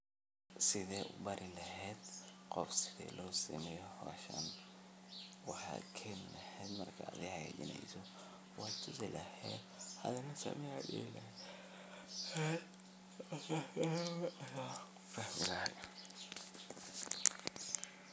Side u bari lehed qof inusameyo hoshan, wxaken lehed marka adhi hagajineyso wad tusilehed athina same ad dihi lehed.